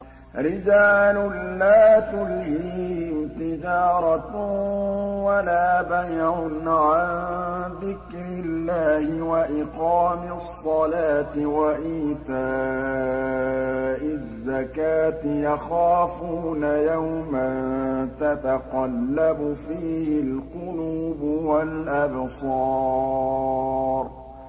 رِجَالٌ لَّا تُلْهِيهِمْ تِجَارَةٌ وَلَا بَيْعٌ عَن ذِكْرِ اللَّهِ وَإِقَامِ الصَّلَاةِ وَإِيتَاءِ الزَّكَاةِ ۙ يَخَافُونَ يَوْمًا تَتَقَلَّبُ فِيهِ الْقُلُوبُ وَالْأَبْصَارُ